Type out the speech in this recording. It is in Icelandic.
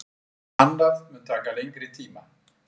Annað mun taka lengri tíma.